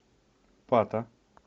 пата